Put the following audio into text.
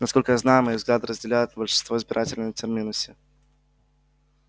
насколько я знаю мои взгляды разделяют большинство избирателей на терминусе